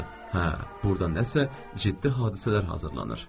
Hə, burada nəsə ciddi hadisələr hazırlanır.